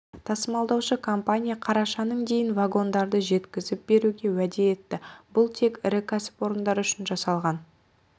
тасымалдаушы компания қарашаның дейін вагондарды жеткізіп беруге уәде етті бұл тек ірі кәсіпорындар үшін жасалған